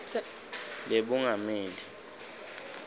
lebungameli